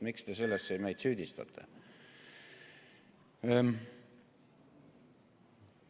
Miks te selles meid süüdistate?